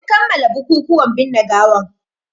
Sun kammala bukukuwan binne gawan